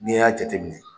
N'i y'a jateminɛ